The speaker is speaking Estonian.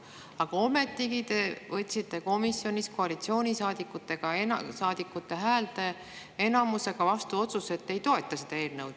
Aga ometigi te võtsite komisjonis koalitsioonisaadikute häälteenamusega vastu otsuse, et ei toeta seda eelnõu.